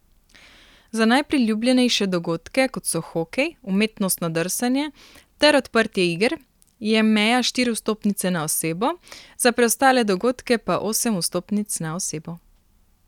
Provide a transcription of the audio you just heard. Za najpriljubljenejše dogodke, kot so hokej, umetnostno drsanje ter odprtje iger, je meja štiri vstopnice na osebo, za preostale dogodke pa osem vstopnic na osebo.